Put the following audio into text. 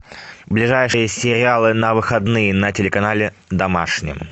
ближайшие сериалы на выходные на телеканале домашний